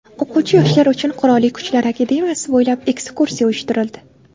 O‘quvchi yoshlar uchun Qurolli Kuchlar akademiyasi bo‘ylab ekskursiya uyushtirildi.